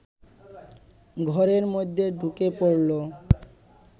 ঘরের মধ্যে ঢুকে পড়ল